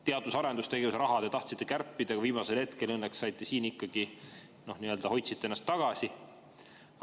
Teadus- ja arendustegevuse raha te tahtsite kärpida, aga viimasel hetkel hoidsite õnneks ennast ikkagi tagasi.